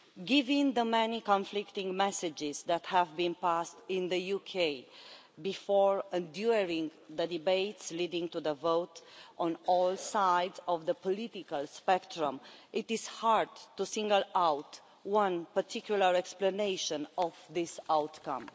Given the many conflicting messages that have been conveyed in the UK before and during the debates leading to the vote, on all sides of the political spectrum, it is hard to single out one particular explanation of this outcome.